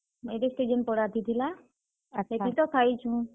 Marriage ଟେ ଯେନ୍ ପଡାଥି ଥିଲା, ଆର୍ ସେଥି ତ ଖାଇଛୁଁ।